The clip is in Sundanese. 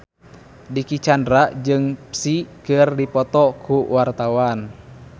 Dicky Chandra jeung Psy keur dipoto ku wartawan